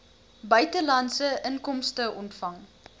buitelandse inkomste ontvang